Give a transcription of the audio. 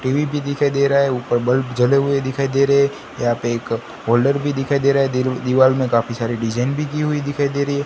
TV भी दिखाई दे रहा है ऊपर बल्ब जले हुए दिखाई दे रहा है यह पे एक होल्डर भी दिखाई दे रहा है दिल दीवार में काफी सारी डिजाइन भी की हुई दिखाई दे रही है।